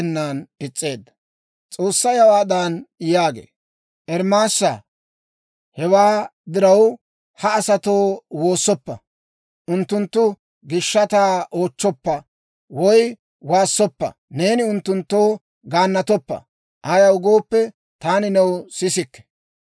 S'oossay hawaadan yaagee; «Ermaasaa, hewaa diraw, ha asatoo woossoppa; unttunttu gishshataa oochchoppa woy waassoppa; neeni unttunttoo gaannatoppa. Ayaw gooppe, taani new sisikke.